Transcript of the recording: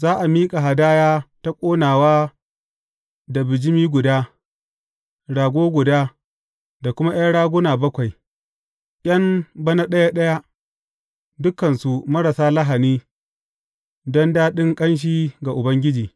Za a miƙa hadaya ta ƙonawa da bijimi guda, rago guda, da kuma ’yan raguna bakwai, ’yan bana ɗaya ɗaya, dukansu marasa lahani don daɗin ƙanshi ga Ubangiji.